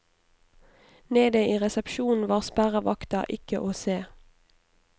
Nede i resepsjonen var sperrevakta ikke å se.